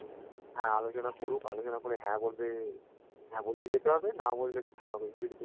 হ্যা আলোচনা করুক আলোচনা করে হ্যা বলবে হ্যা বললে যেতে হবে না বললে